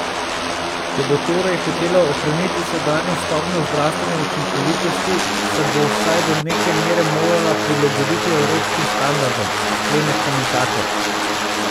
Če bo torej hotela ohraniti sedanjo stopnjo zdravstvene učinkovitosti, se bo vsaj do neke mere morala prilagoditi evropskim standardom, sklene komentator.